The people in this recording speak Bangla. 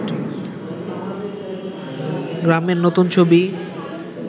গ্রামের নতুন ছবি